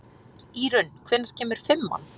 Írunn, hvenær kemur fimman?